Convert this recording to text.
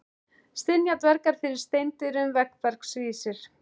Stynja dvergar fyrir steindyrum, veggbergs vísir.